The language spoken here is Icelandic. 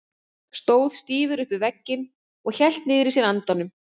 Stóð stífur upp við vegginn og hélt niðri í sér andanum.